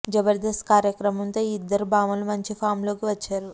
జబర్దస్త్ కార్యక్రమంతో ఈ ఇద్దరు భామలు మంచి ఫామ్ లోకి వచ్చారు